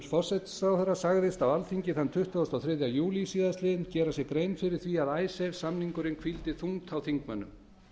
forsætisráðherra sagðist á alþingi þann tuttugasta og þriðja júlí síðastliðinn gera sér grein fyrir því að icesavesamningurinn hvíldi þungt á þingmönnum